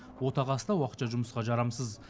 отағасы да уақытша жұмысқа жарамсыз